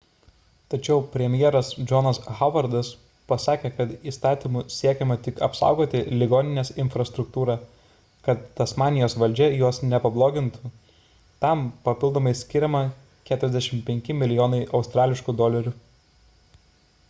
tačiau premjeras johnas howardas pasakė kad įstatymu siekiama tik apsaugoti ligoninės infrastruktūrą kad tasmanijos valdžia jos nepablogintų – tam papildomai skiriama 45 milijonai aud